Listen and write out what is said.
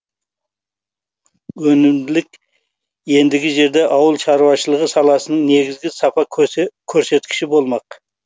өнімділік ендігі жерде ауыл шаруашылығы саласының негізгі сапа көрсеткіші болмақ